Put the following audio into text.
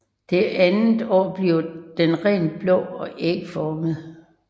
Det andet år bliver den rent blå og ægformet